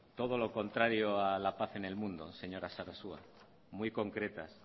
todo lo contrario a la paz en el mundo señora sarasua muy concretas